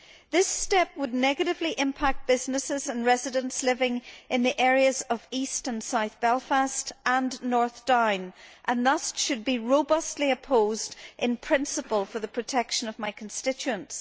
This step would negatively impact businesses and residents living in the areas of east and south Belfast and North Down and thus should be robustly opposed in principle for the protection of my constituents.